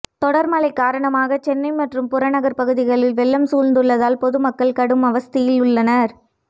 தொடர்மழை காரணமாக சென்னை மற்றும் புறநகர் பகுதிகளில் வெள்ளம் சூழ்ந்துள்ளதால் பொதுமக்கள் கடும் அவஸ்தையில் உள்ளனர்